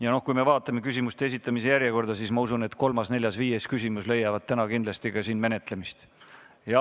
Ja kui ma vaatan küsimuste esitamise järjekorda, siis ma usun, et ka kolmas, neljas ja viies küsimus leiavad täna kindlasti arutamist.